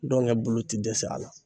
bolo ti dɛsɛ a la